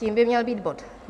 Tím by měl být bod